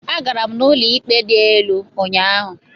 Agara m ụlọ ikpe dị elu ụnyahụ.